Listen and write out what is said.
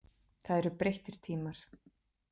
Það eru breyttir tímar.